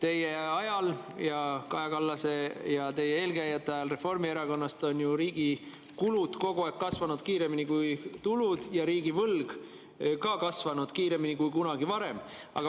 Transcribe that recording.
Teie ajal ja Kaja Kallase ja teie eelkäijate ajal Reformierakonnast on riigi kulud kogu aeg kasvanud kiiremini kui tulud ja ka riigi võlg kasvanud kiiremini kui kunagi varem.